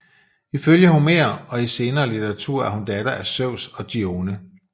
Ifølge Homer og i senere litteratur er hun datter af Zeus og Dione